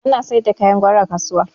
Ana sayar da kayan gwari a kasuwa